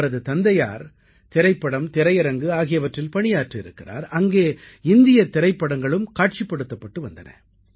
அவரது தந்தையார் திரைப்படம் திரையரங்கு ஆகியவற்றில் பணியாற்றியிருக்கிறார் அங்கே இந்தியத் திரைப்படங்களும் காட்சிப்படுத்தப்பட்டு வந்தன